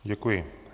Děkuji.